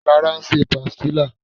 Lara ń ṣe pastilla